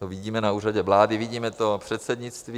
To vidíme na Úřadě vlády, vidíme to předsednictví.